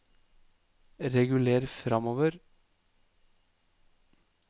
reguler framover